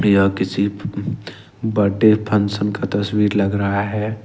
या किसी birthday function का तस्वीर लग रहा है।